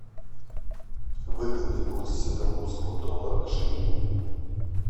выгодный курс сингапурского доллара к шиллингу